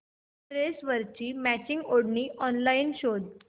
ड्रेसवरची मॅचिंग ओढणी ऑनलाइन शोध